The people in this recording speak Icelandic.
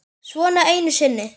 Svona einu sinni.